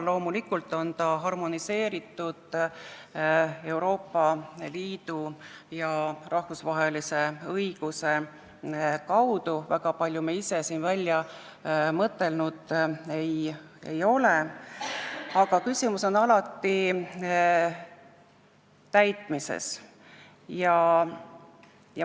Loomulikult on ta harmoneeritud Euroopa Liidu ja rahvusvahelise õiguse kaudu, väga palju me ise siin välja mõtelnud ei ole, aga küsimus on alati täitmises.